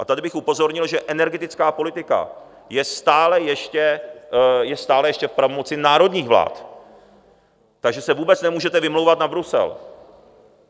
A tady bych upozornil, že energetická politika je stále ještě v pravomoci národních vlád, takže se vůbec nemůžete vymlouvat na Brusel.